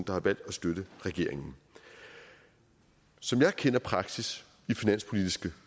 der har valgt at støtte regeringen som jeg kender praksis i finanspolitiske